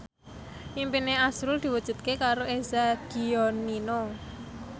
impine azrul diwujudke karo Eza Gionino